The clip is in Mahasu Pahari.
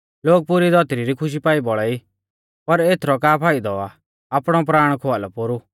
लोग पुरी धौतरी री खुशी पाई बौल़ा ई पर एथरौ का फाइदौ आ आपणौ प्राण खोआलौ पोरु